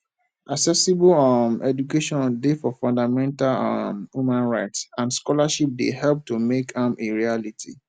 accessible um education dey for fundamental um human rights and scholarships dey help to make am a reality